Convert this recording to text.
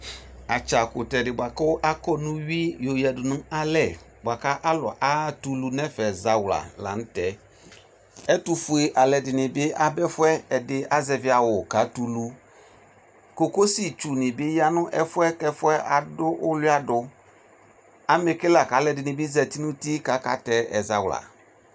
Atsa kutɛ de boako akɔ no uwi alu atɛ ulu no ɛfɛ zawla lantɛƐtofue ɛlɛde ne be aba ɛfuɛ Ɛdenee azɛvi awu katɛ ulu Kokosi tsu ne be ya no ɛfiɛ ko ɛfuɛ ado ulua do Amɛ ke lako alɛde ne zati no uti kaatɛ ɛzawla